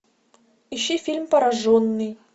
ищи фильм пораженный